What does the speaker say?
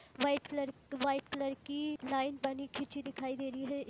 White colour white colour की line बनी खींची दिखाई दे रही है।